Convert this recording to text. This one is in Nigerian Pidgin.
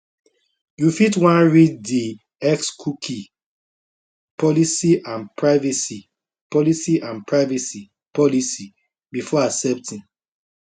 you fit wan read di xcookie policyandprivacy policyandprivacy policybefore accepting